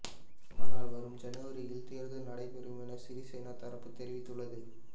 ஆனால் வரும் ஜனவரியில் தேர்தல் நடைபெறும் என சிறிசேனா தரப்பு தெரிவித்துள்ளது